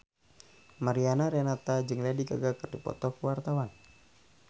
Mariana Renata jeung Lady Gaga keur dipoto ku wartawan